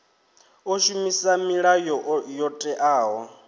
o shumisa milayo yo teaho